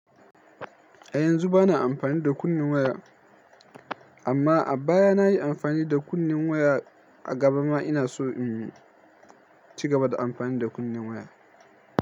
Eh yanzu bana amfani da kunnen waya amma a baya nayi amfani da kunne waya a gaba ma ina so in cigaba da amfani da kunne waya.